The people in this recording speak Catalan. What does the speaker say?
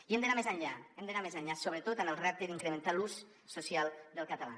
i hem d’anar més enllà hem d’anar més enllà sobretot en el repte d’incrementar l’ús social del català